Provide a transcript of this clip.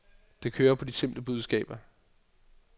Det kører på de simple budskaber.